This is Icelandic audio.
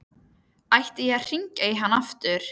Ætti hann að hringja í hann aftur?